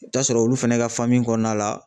I bi t'a sɔrɔ olu fɛnɛ ka faamu kɔnɔna la